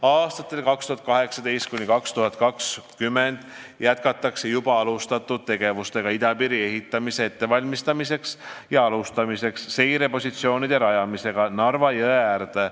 " Aastatel 2018–2020 jätkatakse juba alustatud tegevustega idapiiri ehitamise ettevalmistamiseks ja alustatakse seirepositsioonide rajamist Narva jõe äärde.